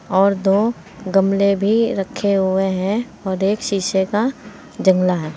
और दो गमले भी रखे हुए हैं और एक शीशे का जंगला है।